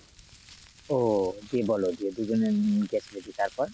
ও এটি বল যে দু’জনে তারপর?